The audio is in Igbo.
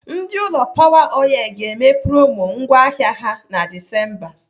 Ndị ụlọ Power oil ga-eme promo ngwá ahịa ha na Disemba.